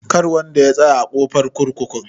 Kar wanda ya tsaya a ƙofar kurkukun.